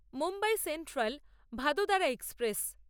Mumbai central Vadodara express